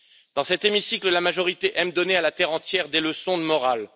Dans cet hémicycle, la majorité aime donner à la terre entière des leçons de morale.